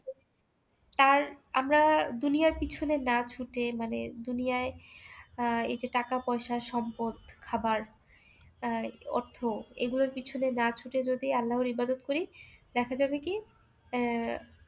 তার আমরা দুনিয়ার পিছনে না ছুটে মানে দুনিয়ায় আহ এই যে টাকা পয়সা সম্পদ খাবার আহ অর্থ এগুলোর পেছনে না ছুটে যদি আল্লাহর ইবাদত করি দেখা যাবে কি আহ এসব কিছু আমাদের পিছনে ছুটবে